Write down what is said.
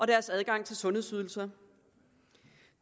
deres adgang til sundhedsydelser